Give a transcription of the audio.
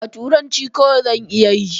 A'a, turanci kawai zan iya yi.